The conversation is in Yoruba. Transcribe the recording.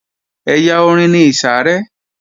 Ẹ̀yà orin ni ìsàrẹ́